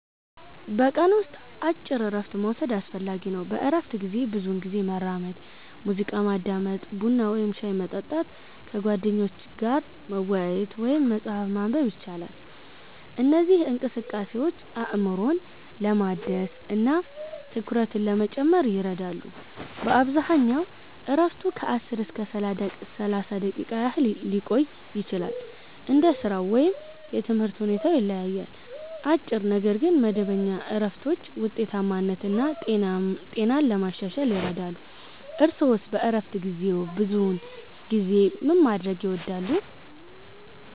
በቀን ውስጥ አጭር እረፍት መውሰድ አስፈላጊ ነው። በእረፍት ጊዜ ብዙውን ጊዜ መራመድ፣ ሙዚቃ ማዳመጥ፣ ቡና ወይም ሻይ መጠጣት፣ ከጓደኞች ጋር መወያየት ወይም መጽሐፍ ማንበብ ይቻላል። እነዚህ እንቅስቃሴዎች አእምሮን ለማደስ እና ትኩረትን ለመጨመር ይረዳሉ። በአብዛኛው እረፍቱ ከ10 እስከ 30 ደቂቃ ያህል ሊቆይ ይችላል፣ እንደ ሥራው ወይም የትምህርት ሁኔታው ይለያያል። አጭር ነገር ግን መደበኛ እረፍቶች ውጤታማነትን እና ጤናን ለማሻሻል ይረዳሉ። እርስዎስ በእረፍት ጊዜዎ ብዙውን ጊዜ ምን ማድረግ ይወዳሉ?